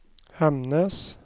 Hemnes